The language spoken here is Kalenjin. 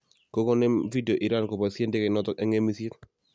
Kokonem video Iran keboisie ndekeinoto eng ng'emisiet